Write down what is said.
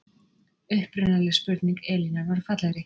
upprunaleg spurning elínar var fallegri